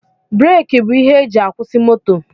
Breeki bụ ihe e ji akwusi moto